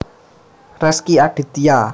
Rezky Aditya